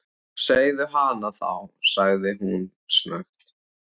Segðu hana þá- sagði hún snöggt.